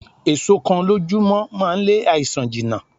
Èso kan lójú mọ́ máa ń lé àìsàn jìnà.